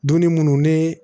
Dunni munnu ne